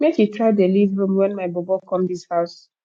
make you dey try leave room wen my bobo come dis house